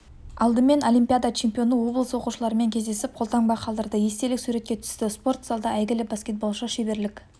алдымен олимпиада чемпионы облыс оқушыларымен кездесіп қолтаңба қалдырды естелік суретке түсті спорт залда әйгілі баскетболшы шеберлік